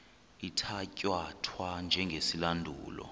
ithatya thwa njengesilandulo